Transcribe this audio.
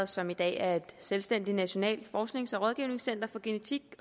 som i dag er et selvstændigt nationalt forsknings og rådgivningscenter for genetik